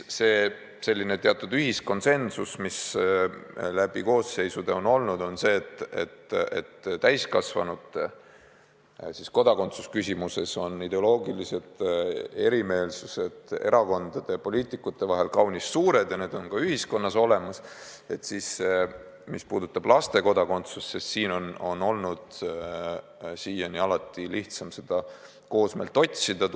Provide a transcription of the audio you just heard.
Samas on läbi koosseisude olnud teatud ühiskonsensus, et kui täiskasvanute kodakondsuse küsimuses on ideoloogiline erimeelsus erakondade ja poliitikute vahel kaunis suur ja see on ka ühiskonnas olemas, siis laste kodakondsuse puhul on siiani olnud lihtsam ühist meelsust otsida.